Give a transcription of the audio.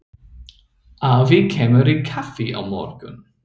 Afi kemur í kaffi á morgun.